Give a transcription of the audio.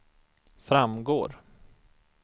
framgår